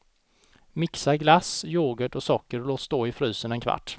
Mixa glass, yoghurt och socker och låt stå i frysen en kvart.